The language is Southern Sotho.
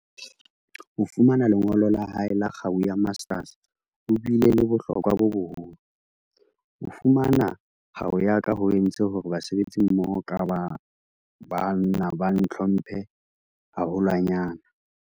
Ho fumana lengolo la hae la kgau ya Master's ho bile le bohlokwa bo boholo. "Ho fu mana kgau ya ka ho entse hore basebetsimmoho ba ka ba ba nna ba ntlhomphe haholwa nyane."